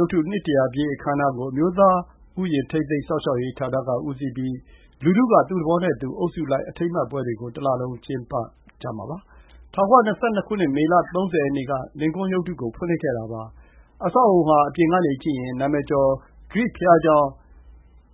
ုပ်တု နှစ်တရာပြည့် အခမ်းအနားကို အမျိုးသားဥယျာဉ် ထိန်းသိမ်းစောင့်ရှောက်ရေးဌာနက ဦးစီးပြီး လူထုက သူ့သဘောနဲ့သူ အုပ်စုလိုက် အထိမ်းအမှတ်ပွဲတွေ ကို တလလုံး ကျင်းပခဲ့ကြပါတယ်။ ၁၉၂၂ ခုနှစ် မေလ ၃၀ ရက်နေ့ က လင်ကွန်းရုပ်တုကို ဖွင့်လှစ်ခဲ့တာပါ။ အဆောက်အအုံ ဟာ အပြင်ကနေ ကြည့်ရင် နာမည်ကျော် ဂရိဘုရားကျောင်း